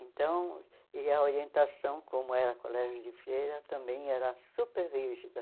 Então, e a orientação, como era Colégio de Feira, também era super rígida.